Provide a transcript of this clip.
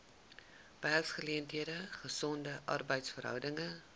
werksgeleenthede gesonde arbeidsverhoudinge